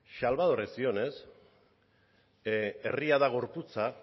salvadorren zioenez herria da gorputza